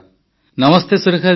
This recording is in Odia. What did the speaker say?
ନମସ୍ତେ ସୁରେଖା ଜୀ